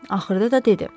Axırda da dedi.